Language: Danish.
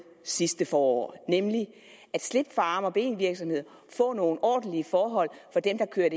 sidste forår nemlig at slippe for arme og ben virksomheder at få nogle ordentlige forhold for dem der kører